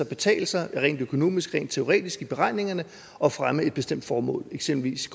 betale sig rent økonomisk og rent teoretisk i beregningerne at fremme et bestemt formål eksempelvis